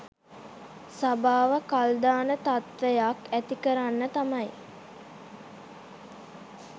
සභාව කල් දාන තත්ත්වයක් ඇතිකරන්න තමයි